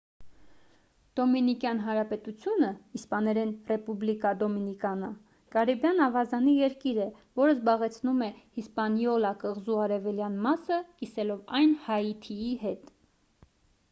դոմինիկյան հանրապետությունը իսպաներեն` ռեպուբլիկա դոմինիկանա կարիբյան ավազանի երկիր է որը զբաղեցնում է հիսպանիոլա կղզու արևելյան մասը` կիսելով այն հայիթիի հետ: